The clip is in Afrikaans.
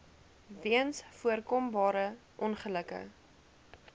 weens voorkombare ongelukke